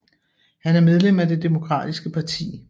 Han er medlem af det demokratiske parti